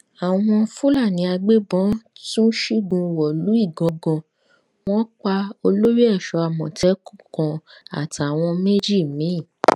àwọn fúlàní agbébọn tún ṣígun wọlú ìgangan wọn pa olórí ẹṣọ àmọtẹkùn kan àtàwọn méjì mi